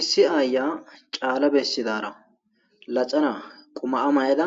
Issi ayiya ca,ala besidara laxana mayada